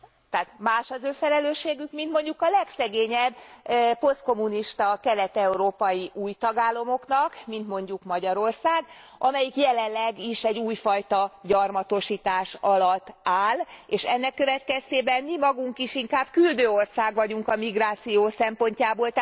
Tehát más az ő felelősségük, mint a legszegényebb posztkommunista kelet európai új tagállamoknak, mint mondjuk Magyarország, amelyik jelenleg is egy újfajta gyarmatosítás alatt áll, és ennek következtében mi magunk is inkább küldő ország vagyunk a migráció szempontjából.